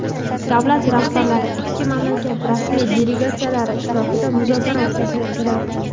Davlat rahbarlari ikki mamlakat rasmiy delegatsiyalari ishtirokida muzokara o‘tkazdilar.